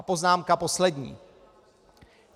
A poznámka poslední.